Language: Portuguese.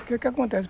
O que que acontece?